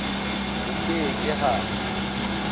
ho ke ke h a